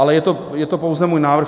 Ale je to pouze můj návrh.